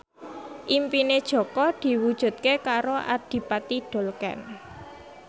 impine Jaka diwujudke karo Adipati Dolken